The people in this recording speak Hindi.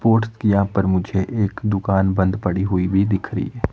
पोट्स की यहां पर मुझे एक दुकान बंद पड़ी हुई भी दिख रही है।